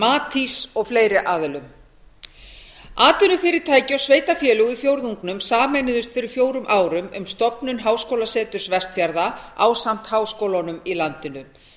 matís og fleiri aðilum atvinnufyrirtæki og sveitarfélög í fjórðungnum sameinuðust fyrir fjórum árum um stofnun háskólaseturs vestfjarða ásamt háskólunum í landinu